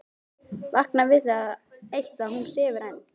Vakna við það eitt að hún sefur enn.